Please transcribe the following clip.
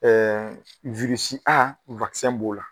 A b'o la